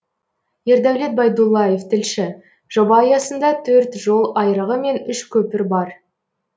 ердәулет байдуллаев тілші жоба аясында төрт жол айрығы мен үш көпір бар